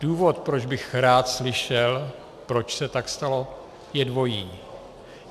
Důvod, proč bych rád slyšel, proč se tak stalo, je dvojí.